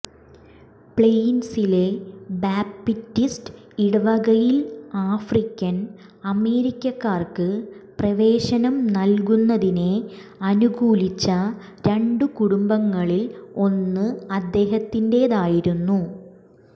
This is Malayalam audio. പ്ലെയിൻസിലെ ബാപ്റ്റിസ്റ്റ് ഇടവകയിൽ ആഫ്രിക്കൻ അമേരിക്കർക്ക് പ്രവേശനം നൽകുന്നതിനെ അനുകൂലിച്ച രണ്ടു കുടുംബങ്ങളിൽ ഒന്ന് അദ്ദേഹത്തിന്റേതായിരുന്നു